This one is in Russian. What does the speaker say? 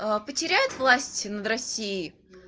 потеряют власть над россией